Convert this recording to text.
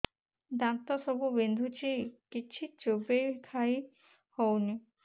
ଦାନ୍ତ ସବୁ ବିନ୍ଧୁଛି କିଛି ଚୋବେଇ ଖାଇ ହଉନି